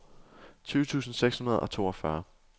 tyve tusind seks hundrede og toogfyrre